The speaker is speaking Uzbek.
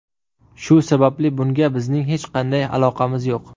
Shu sababli bunga bizning hech qanday aloqamiz yo‘q.